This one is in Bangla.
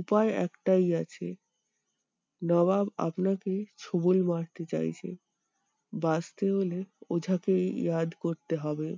উপায় একটাই আছে নবাব আপনাকে ছোবল মারতে চাইছে। বাঁচতে গেলে ওঝাকে করতে হবে।